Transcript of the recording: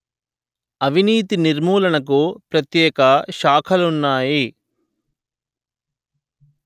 అవినీతి నిర్మూలనకు ప్రత్యేక శాఖలున్నాయి